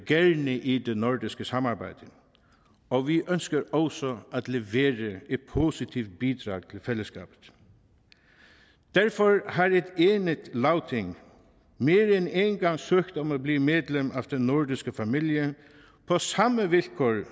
gerne i det nordiske samarbejde og vi ønsker også at levere et positivt bidrag til fællesskabet derfor har et enigt lagting mere end en gang søgt om at blive medlem af den nordiske familie på samme vilkår